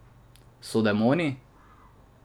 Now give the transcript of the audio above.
So demoni?